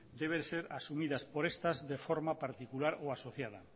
debe ser asumidas por estas de forma particular o asociada